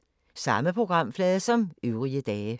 Samme programflade som øvrige dage